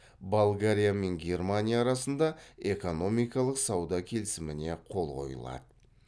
болгария мен германия арасында экономикалық сауда келісіміне қол қойылады